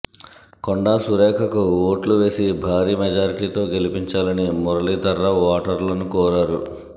కొండా సురేఖకు ఓట్లు వేసి భారీ మెజారిటీతో గెలిపించాలని మురళీధర్రావు ఓటర్లను కోరారు